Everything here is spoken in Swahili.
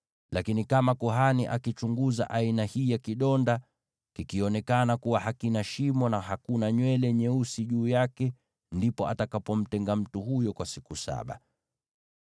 Lakini kama kuhani akichunguza aina hii ya kidonda, kionekane kuwa hakina shimo na hakuna nywele nyeusi juu yake, basi atamtenga mtu huyo kwa siku saba.